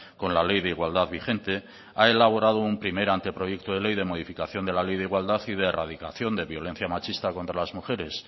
con la ley de igualdad vigente ha elaborado un primer anteproyecto de ley de modificación de la ley de igualdad y de erradicación de violencia machista contra las mujeres